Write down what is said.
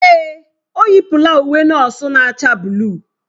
Èè, o yipụla uwe nọọsụ na-acha buluu.